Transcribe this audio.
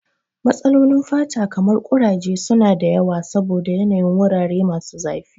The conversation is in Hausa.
Matsalolin fata kamar kuraje su na da yawa saboda yanayin wurare masu zafi.